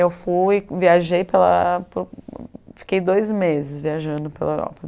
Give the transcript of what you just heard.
Eu fui, viajei para a Europa, fiquei dois meses viajando pela Europa.